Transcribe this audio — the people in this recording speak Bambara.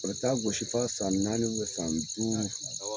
A bɛ taa gosi f'a san naani ubɛn san duuru